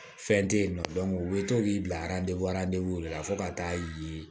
Fɛn tɛ yen nɔ u bɛ to k'i bila de la fo ka taa ye